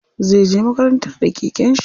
Zai je makaranta da keken shi.